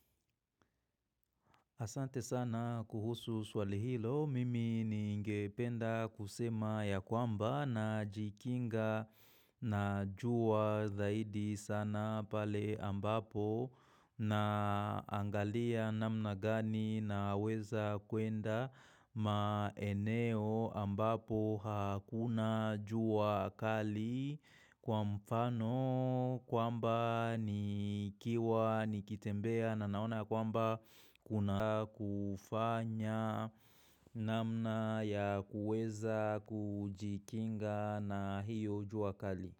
Asante sana kuhusu swali hilo, mimi ningependa kusema ya kwamba na jikinga. Na juwa dhaidi sana pale ambapo na. Angalia namna gani na weza kuenda maeneo ambapo hakuna juwa kali kwa mfano. Kwamba ni kiwa nikitembea na naona kwamba kuna kufanya. Namna ya kuweza kujikinga na hiyo ujuakali.